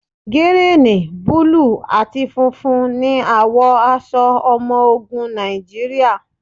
Gírìn, búlù àti funfun ní àwọ̀ aṣọ ọmọ ogun Nàìjíríà.